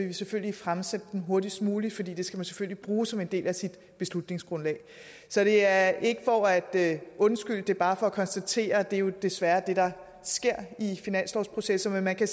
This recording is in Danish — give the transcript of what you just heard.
vi selvfølgelig fremsende dem hurtigst muligt for det skal man selvfølgelig bruge som en del af sit beslutningsgrundlag så det er ikke for at undskylde det er bare for at konstatere at det jo desværre er det der sker i finanslovsprocessen men man kan